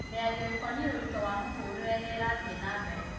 mĩario ĩkonie ũrĩtũ wa mũtũrĩre nĩ ĩrathiĩ na mbere